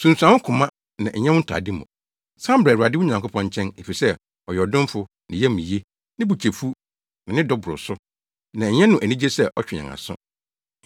Sunsuan wo koma na ɛnyɛ wo ntade mu. San bra Awurade wo Nyankopɔn nkyɛn, efisɛ, ɔyɛ ɔdomfo, ne yam ye. Ne bo kyɛ fuw na ne dɔ boro so, na ɛnyɛ no anigye sɛ ɔtwe yɛn aso.